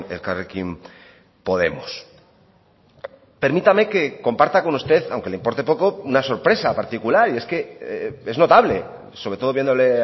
elkarrekin podemos permítame que comparta con usted aunque le importe poco una sorpresa particular y es que es notable sobre todo viéndole